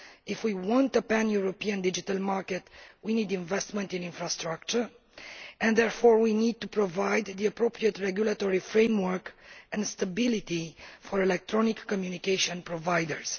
If we want a pan European digital market, we need investment in infrastructure, and therefore we need to provide the appropriate regulatory framework and stability for electronic communication providers.